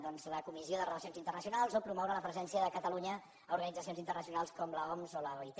doncs la comissió de relacions internacionals o promoure la presència de catalunya en organitzacions internacionals com l’oms o l’oit